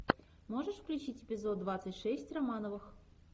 можешь включить эпизод двадцать шесть романовых